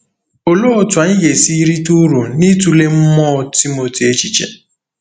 Olee otú anyị ga-esi rite uru n’ịtụle mmụọ Timoti echiche?